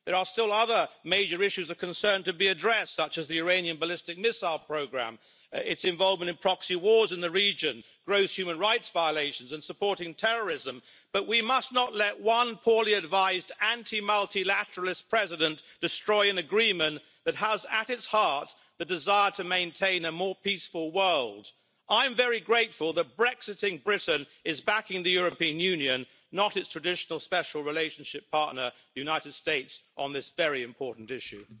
There are still other major issues of concern to be addressed, such as the Iranian ballistic missile programme, its involvement in proxy wars in the region, gross human rights violations and supporting terrorism, but we must not let one poorly advised anti multilateralist president destroy an agreement that has, at its heart, the desire to maintain a more peaceful world. I am very grateful that brexiting Britain is backing the European Union, not its traditional special relationship' partner, the United States, on this very important issue.